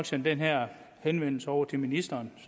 sende den her henvendelse over til ministeren